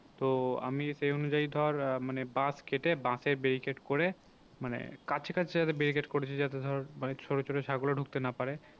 তো আমি সেই অনুযায়ী ধর আহ মানে বাঁশ কেটে বাঁশের barricade করে মানে কাছাকাছি যাতে barricade করেছি যাতে ধর মানে ছোটো ছোটো ছাগলও ঢুকতে না পারে।